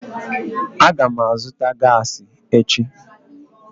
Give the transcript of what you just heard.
Aga m azụta gaasi echi